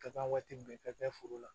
Ka taa waati bɛɛ ka taa foro la